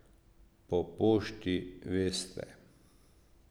Po pošti, veste.